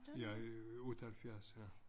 Jeg er 78 ja